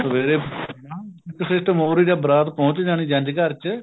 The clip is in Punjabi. ਸਵੇਰੇ ਇੱਕ system ਸੀਗਾ ਬਰਾਤ ਪਹੁੰਚ ਜਾਣੀ ਜੰਝ ਘਰ ਚ